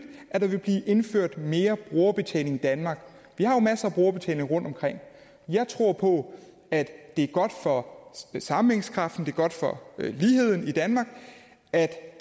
at der vil blive indført mere brugerbetaling i danmark vi har masser af brugerbetaling rundtomkring jeg tror på at det er godt for sammenhængskraften er godt for ligheden i danmark at